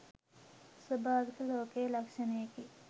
ස්වභාවික ලෝකයේ ලක්‍ෂණයකි.